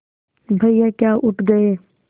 भैया क्या उठ गये